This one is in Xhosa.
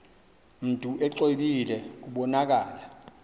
mntu exwebile kubonakala